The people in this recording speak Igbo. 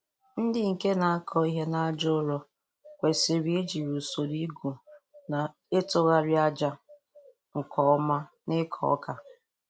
Ndi nke na-akọ ihe n'aja ụrọ kwesịrị ijiri usoro igwu na ịtụghari aja nke oma n'ịkọ ọka.